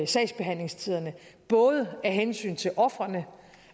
sagsbehandlingstiderne både af hensyn til ofrene